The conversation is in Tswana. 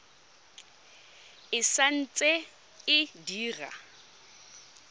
e sa ntse e dira